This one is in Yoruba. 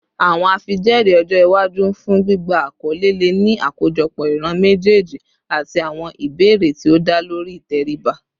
Awọn afijẹẹri ọjọ iwaju fun gbigba akọle le ni akojọpọ iran mejeeji ati awọn ibeere ti o da lori iteriba